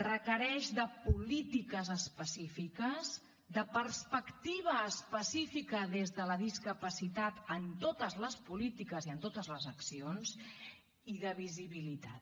requereix polítiques específiques perspectiva específica des de la discapacitat en totes les polítiques i en totes les accions i visibilitat